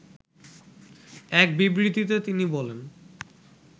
এক বিবৃতিতে তিনি বলেন